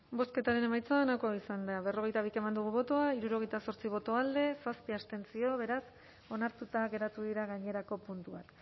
bozketaren emaitza onako izan da berrogeita bi eman dugu bozka hirurogeita zortzi boto alde zazpi abstentzio beraz onartuta geratu dira gainerako puntuak